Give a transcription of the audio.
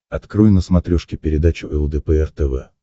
открой на смотрешке передачу лдпр тв